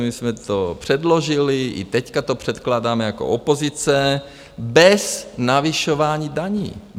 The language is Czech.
My jsme to předložili, i teď to předkládáme jako opozice - bez navyšování daní.